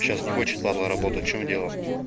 сейчас не хочет падла работать в чем дело